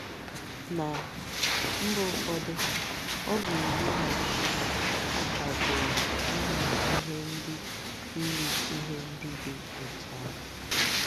Ná mba ụfọdụ, ọ bụ iwu na-akwadoghị iyi ihe ndị iyi ihe ndị dị otú ahụ.